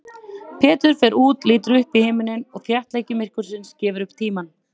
Pétur fer út, lítur upp í himininn og þéttleiki myrkursins gefur upp tímann.